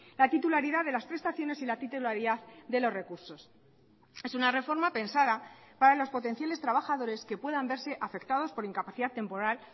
la titularidad de las prestaciones y la titularidad de los recursos es una reforma pensada para los potenciales trabajadores que puedan verse afectados por incapacidad temporal